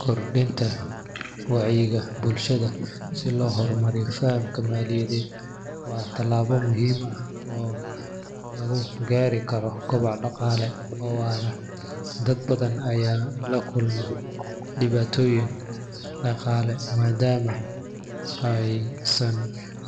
Kordhinta wacyiga bulshada si loo horumariyo fahamka maaliyadeed waa tallaabo muhiim ah oo lagu gaari karo koboc dhaqaale oo waara. Dad badan ayaa la kulma dhibaatooyin dhaqaale maadaama aysan